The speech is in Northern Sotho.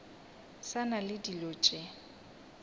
sa na le dilo tše